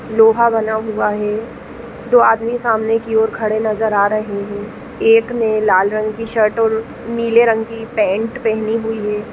लोहा बना हुआ है दो आदमी सामने की ओर खड़े नजर आ रहे हैं एक ने लाल रंग की शर्ट और नीले रंग की पैंट पहनी हुई है।